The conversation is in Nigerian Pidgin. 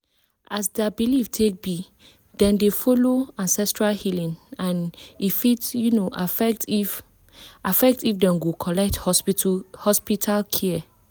as their belief take be dem dey follow ancestral healing and e fit um affect if affect if dem go collect hospital care.